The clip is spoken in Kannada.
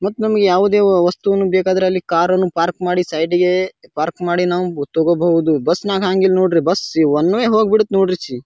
ಮತ್ತ ನಮ್ಮಗೆ ಯಾವದೇ ವಸ್ತುನು ಬೇಕಾದ್ರೆ ಅಲ್ಲಿ ಕಾರನ್ನು ಪಾರ್ಕ್ ಮಾಡಿ ಸೈಡ್ಗೆ ಪಾರ್ಕ್ ಮಾಡಿನು ಗೊತ್ತಾಗಬಹುದು ಬಸ್ ನಾಗ್ ಹಾಗಿಲ್ ನೋಡ್ರಿ ಬಸ್ ಒನ್ ವೆ ಹೋಗಬಿಡಿತ್ತು ನೋಡ್ರಿ ಚಿ.